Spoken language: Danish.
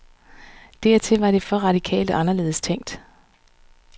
Dertil var det for radikalt og anderledes tænkt.